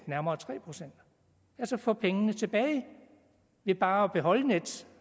nærmere tre procent altså få pengene tilbage ved bare at beholde nets